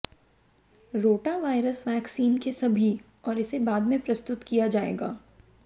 rotavirus vaccine के सभी और इसे बाद में प्रस्तुत किया जाएगा